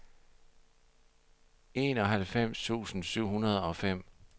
enoghalvfems tusind syv hundrede og fem